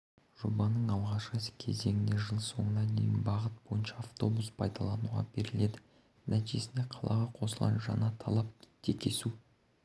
жобаның алғашқы кезеңінде жыл соңына дейін бағыт бойынша автобус пайдалануға беріледі нәтижесінде қалаға қосылған жаңаталап текесу